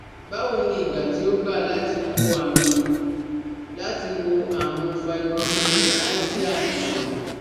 Báwo ni ìgbà tí ó gba láti wò àrùn láti wò àrùn fibromyalgia sàn?